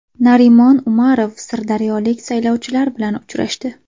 Narimon Umarov sirdaryolik saylovchilar bilan uchrashdi.